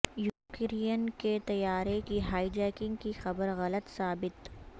Ukraine کے طیارے کی ہائی جیکنگ کی خبر غلط ثابت